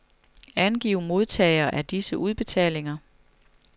Angiv modtagere af disse udbetalinger.